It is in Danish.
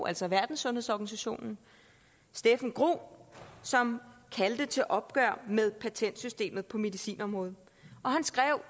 altså verdenssundhedsorganisationen steffen groth som kaldte til opgør med patentsystemet på medicinområdet han skrev